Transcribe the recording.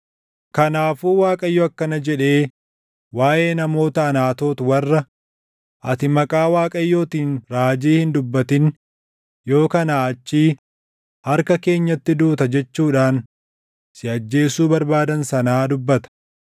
“Kanaafuu Waaqayyo akkana jedhee waaʼee namoota Anaatoot warra, ‘Ati maqaa Waaqayyootiin raajii hin dubbatin yoo kanaa achii harka keenyatti duuta’ jechuudhaan si ajjeesuu barbaadan sanaa dubbata.